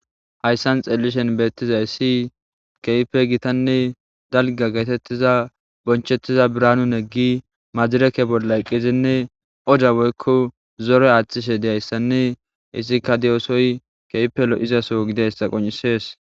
Hayssan xeelishen beettizay si keype gitanne dalga geetettiza bonchettiza biraanun eggi majireke bollayqqizinne oda woykko zore aaththishe deyayssanne isikka diyosoy keypelo izaso gideyssa qoncisees.